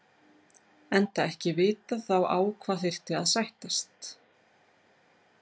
Enda ekki vitað þá á hvað þyrfti að sættast.